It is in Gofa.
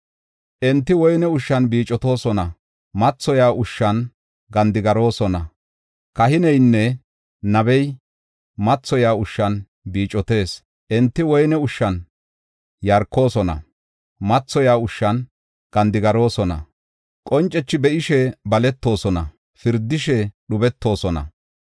Enti woyne ushshan biicotoosona; mathoyiya ushshan gandigaroosona. Kahineynne nabey mathoyiya ushshan biicotees; enti woyne ushshan yarkoosona; mathoyiya ushshan gandigaroosona. Qoncethi be7ishe baletoosona; pirdishe dhubetoosona.